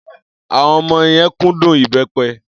Àwọn ọmọ yẹn kúndùn ìbẹ́pẹ.